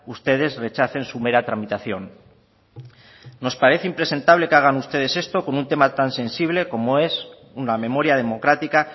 ustedes rechacen su mera tramitación nos parece impresentable que hagan ustedes esto con un tema tan sensible como es una memoria democrática